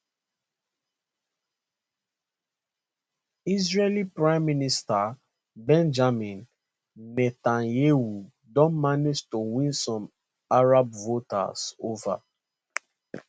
israeli prime minister benjamin netanyahu don manage to win some arab voters ova